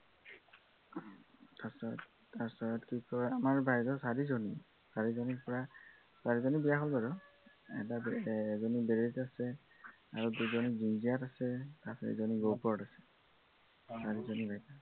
তাৰপিছত কি কয়, আমাৰ বাইদেউ চাৰিজনী, চাৰিজনী পূৰা চাৰিজনী বিয়া হল বাৰু, এৰ এজনী বেদেতৰীত আছে, আৰু দুজনী ৰঙীয়াত আছে আৰু এজনী গহপুৰত আছে। চাৰিজনী বাইদেউ